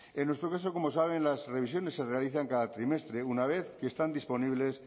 en nuestro caso como saben las revisiones se realizan cada trimestre una vez que están disponibles